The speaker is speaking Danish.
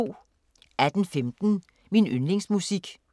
18:15: Min yndlingsmusik